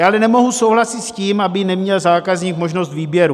Já ale nemohu souhlasit s tím, aby neměl zákazník možnost výběru.